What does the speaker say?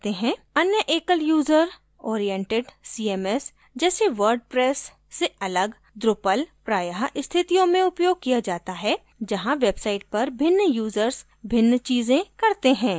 अन्य एकल user oriented cms जैसे wordpress से अलग drupal प्रायः स्थितियों में उपयोग किया जाता है जहाँ website पर भिन्न users भिन्न चीज़ें करते हैं